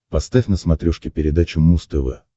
поставь на смотрешке передачу муз тв